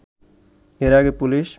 এর আগে পুলিশ